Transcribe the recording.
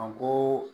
A ko